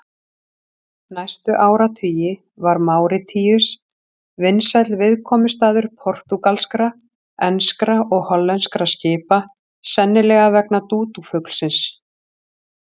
Næstu áratugi var Máritíus vinsæll viðkomustaður portúgalskra, enskra og hollenskra skipa, sennilega vegna dúdúfuglsins.